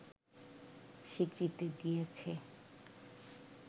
স্বীকৃতি দিয়েছে